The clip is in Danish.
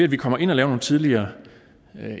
vi kommer ind og laver nogle tidligere